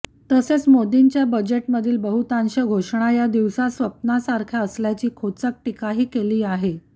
तसेच मोदींच्या बजेटमधील बहुतांश घोषणा या दिवास्वप्ना सारख्या असल्याची खोचक टीकाही केली आहे